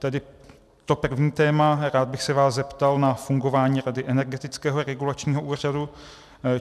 Tedy to první téma, rád bych se vás zeptal na fungování rady Energetického regulačního úřadu.